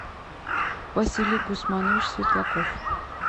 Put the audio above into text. василий гусманович светлаков